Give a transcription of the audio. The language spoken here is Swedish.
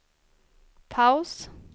paus